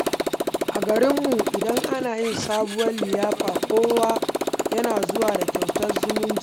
A garinmu, idan ana yi sabuwar liyafa, kowa yana zuwa da kyautar zumunci.